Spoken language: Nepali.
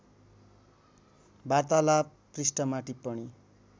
वार्तालाप पृष्ठमा टिप्पणी